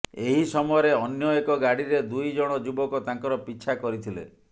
ଏହି ସମୟରେ ଅନ୍ୟ ଏକ ଗାଡିରେ ଦୁଇ ଜଣ ଯୁବକ ତାଙ୍କର ପିଛା କରିଥିଲେ